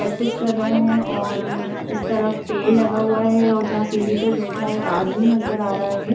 Practice कर रहे है और इस तरफ पेड़ लगा हुआ है और जहाँ सीढी पर बेठा एक आदमी नजर आ रहा है।